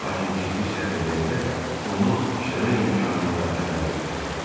Lakin ciddi səhv eləyəndə onu dişləmək imkanını da əldən verməzdi.